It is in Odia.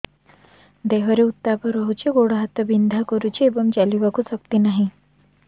ଦେହରେ ଉତାପ ରହୁଛି ଗୋଡ଼ ହାତ ବିନ୍ଧା କରୁଛି ଏବଂ ଚାଲିବାକୁ ଶକ୍ତି ନାହିଁ